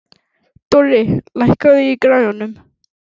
Dorri, lækkaðu í græjunum.